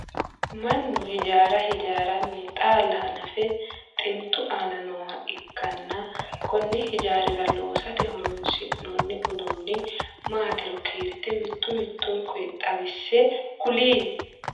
Mannu hijaara hijaaranni xaalla hannafe xintu aanna nooha ikanna konne hijaara loosate horoonsi'noonni uduunni maatiro kiirte mitu mitunku xawise kuli?